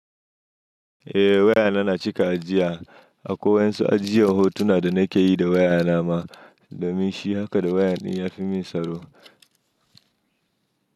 Eh waya na na cika ajiya, akwai wa'yansu ajiyen hotuna da nake yi da waya na ma, domin shi haka da waya ɗin ya fi mun tsaro.